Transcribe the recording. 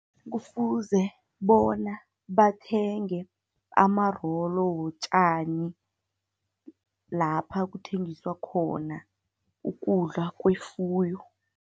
Kufuze bona bathenge amarolo wotjani, lapha kuthengiswa khona ukudla kwefuyo.